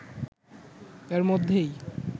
এর মধ্যেই